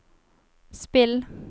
spill